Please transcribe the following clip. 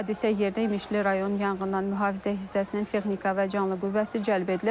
Hadisə yerinə İmişli rayon Yanğından Mühafizə hissəsinin texnika və canlı qüvvəsi cəlb edilib.